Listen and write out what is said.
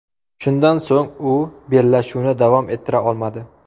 Shundan so‘ng u bellashuvni davom ettira olmadi.